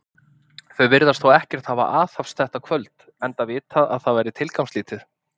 Þau virðast þó ekkert hafa aðhafst þetta kvöld, enda vitað, að það væri tilgangslítið.